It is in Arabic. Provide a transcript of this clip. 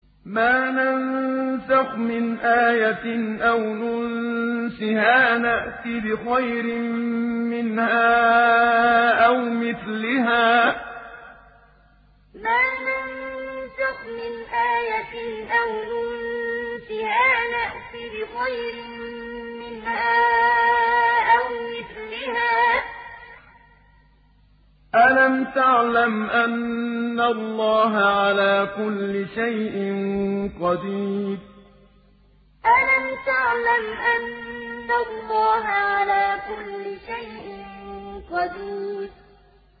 ۞ مَا نَنسَخْ مِنْ آيَةٍ أَوْ نُنسِهَا نَأْتِ بِخَيْرٍ مِّنْهَا أَوْ مِثْلِهَا ۗ أَلَمْ تَعْلَمْ أَنَّ اللَّهَ عَلَىٰ كُلِّ شَيْءٍ قَدِيرٌ ۞ مَا نَنسَخْ مِنْ آيَةٍ أَوْ نُنسِهَا نَأْتِ بِخَيْرٍ مِّنْهَا أَوْ مِثْلِهَا ۗ أَلَمْ تَعْلَمْ أَنَّ اللَّهَ عَلَىٰ كُلِّ شَيْءٍ قَدِيرٌ